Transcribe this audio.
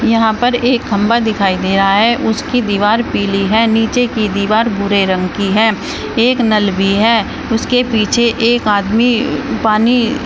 यहां पर एक खंभा दिखाई दे रहा है उसकी दीवार पीली है नीचे की दीवार भूरे रंग की है एक नल भी है उसके पीछे एक आदमी पानी--